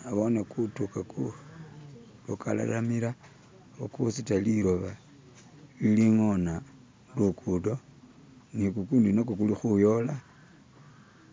Nabone gumutoka gugaralamila ugusuda lidoyi ilingona lugudo nigugundi nagwo gulikuyola,